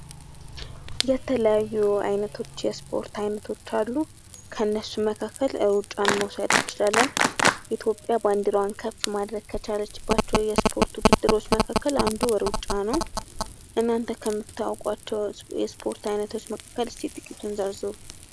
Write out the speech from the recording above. የተለያዩ አይነቶች የስፖርት አይነቶች አሉ። ከነሱም መካከል ሩጫን መውሰድ እንችላለን። ኢትዮጵያ ባንድራዋን ከፍ ማድረግ ከቻለችባቸው ስፖርቶች መካከል አንዱ ሩጫ ነው። እናንተ ከታውቋቸው የስፖርት አይነቶች መካከል እስኪ ጥቂቱን ዘርዝሩ!